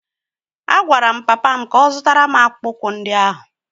A gwara m papa m ka ọ zụtara m akpụkpọ ụkwụ ndị ahụ!